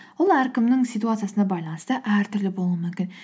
ол әркімнің ситуациясына байланысты әртүрлі болуы мүмкін